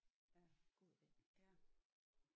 Ja god ide ja